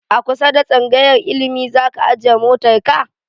A kusa da tsangayar ilimi zaka ajiye motan ka?